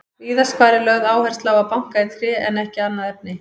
Víðast hvar er lögð áhersla á að banka í tré en ekki annað efni.